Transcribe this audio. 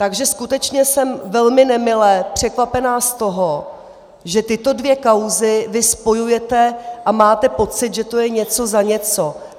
Takže skutečně jsem velmi nemile překvapena z toho, že tyto dvě kauzy vy spojujete a máte pocit, že to je něco za něco.